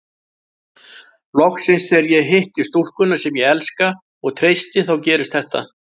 Loksins þegar ég hitti stúlkuna sem ég elska og treysti þá gerist þetta.